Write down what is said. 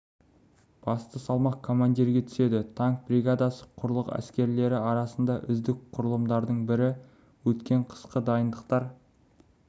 басты салмақ командирге түседі танк бригадасы құрлық әскерлері арасындағы үздік құрылымдардың бірі өткен қысқы дайындықтар